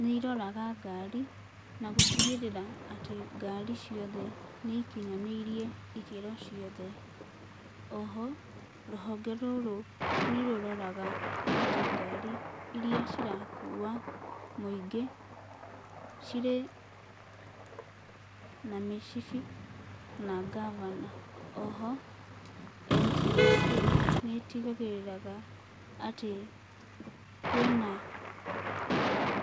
nĩ iroraga ngari na gũtigĩrĩra atĩ ngari ciothe nĩ ikinyanĩirie ikĩro ciothe. Oho rũhonge rũrũ nĩrũroraga atĩ ngari iria cirakua mũingĩ cirĩ na mĩcibi na ngabana. Oho NTSA nĩtigagĩrĩraga atĩ kwĩna